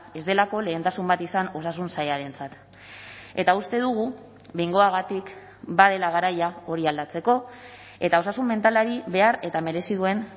ez delako lehentasun bat izan osasun sailarentzat eta uste dugu behingoagatik badela garaia hori aldatzeko eta osasun mentalari behar eta merezi duen